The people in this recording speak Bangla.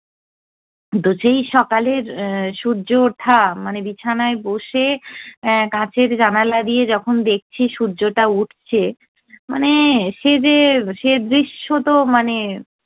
তো সেই সকালের সূর্য ওঠা মানে বিছানায় বসে কাচের জানলা দিয়ে যখন দেখছি সূর্যটা উঠছে, মানে সে যে সে দৃশ্য তো মানে